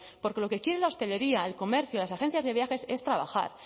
porque lo que quiere la hostelería el comer que las agencias de viajes es trabajar